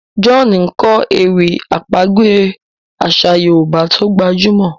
John nkọ ewì àpagbè aṣa yorùbá tó gbajúmò